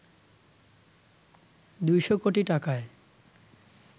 ২০০ কোটি টাকায়